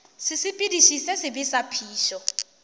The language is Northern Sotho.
sesepediši se sebe sa phišo